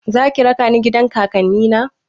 Zaki raka ni gidan kakanni na?